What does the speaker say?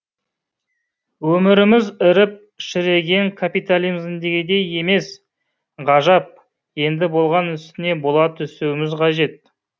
өміріміз іріп шіріген капитализмдегідей емес ғажап енді болған үстіне бола түсуіміз қажет